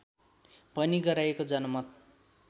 भनी गराइएको जनमत